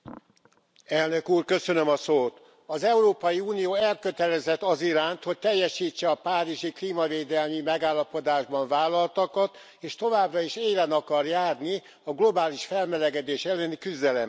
Tisztelt Elnök Úr! Az Európai Unió elkötelezett az iránt, hogy teljesítse a párizsi klímavédelmi megállapodásban vállaltakat, és továbbra is élen akar járni a globális felmelegedés elleni küzdelemben.